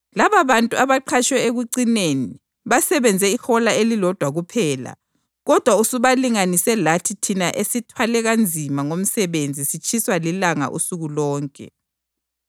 ‘Lababantu abaqhatshwe ekucineni basebenze ihola elilodwa kuphela kodwa usubalinganise lathi thina esithwale kanzima ngomsebenzi sitshiswa lilanga usuku lonke.’